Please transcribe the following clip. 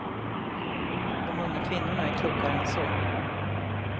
De unga kvinnorna är klokare än så.